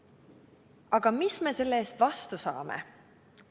Aga mis me selle eest vastu saame?